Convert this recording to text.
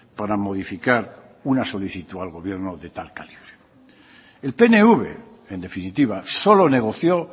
para modificar una solicitud al gobierno de tal calibre el pnv en definitiva solo negoció